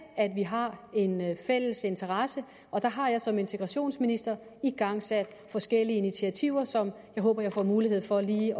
vi har en fælles interesse og der har jeg som integrationsminister igangsat forskellige initiativer som jeg håber jeg får mulighed for lige